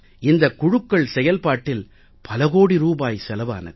இந்தக் குழுக்கள் செயல்பாட்டில் பல கோடி ரூபாய் செலவானது